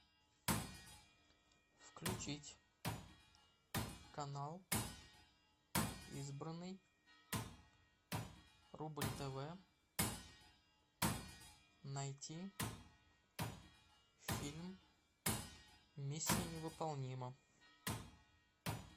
включить канал избранный рубль тв найти фильм миссия невыполнима